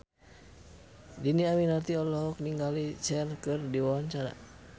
Dhini Aminarti olohok ningali Cher keur diwawancara